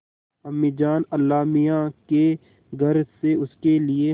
अम्मीजान अल्लाहमियाँ के घर से उसके लिए